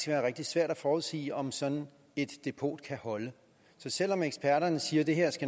være rigtig svært at forudsige om sådan et depot kan holde så selv om eksperterne siger at det her